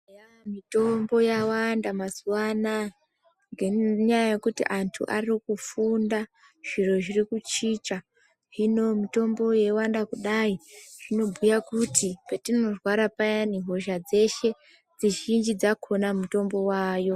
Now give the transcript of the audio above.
Eyaa mitombo yawanda mazuva anaya ngenyaa yokuti antu ari kufunda zviro zviri kuchinja hino mitombo yowanda kudai zvinobhuya kuti petinorwara payani hosha dzeshe, dzizhinji dzakona mitombo wavayo.